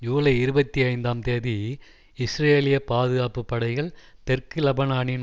ஜூலை இருபத்தி ஐந்தாம் தேதி இஸ்ரேலிய பாதுகாப்பு படைகள் தெற்கு லெபனானில்